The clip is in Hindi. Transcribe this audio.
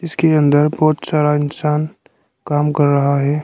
इसके अंदर बहोत सारा इंसान काम कर रहा है।